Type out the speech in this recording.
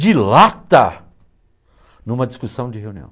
De lata? Em uma discussão de reunião.